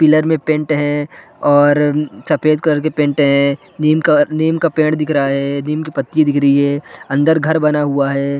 Pillar में paint है और सफ़ेद कलर का पेन्ट है नीम का नीम का पेड़ दिख रहा है नीम की पत्ती दिख रही है अंदर घर बना हुआ है।